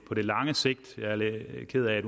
på lang sigt jeg er lidt ked af